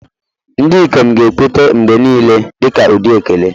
Ndị ikom ga-ekweta mgbe niile dị ka ụdị ekele.